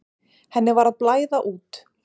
Henni var að blæða út.